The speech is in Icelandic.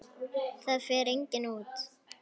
Það fer enginn út!